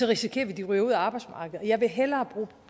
risikerer vi at de ryger ud af arbejdsmarkedet og jeg vil hellere bruge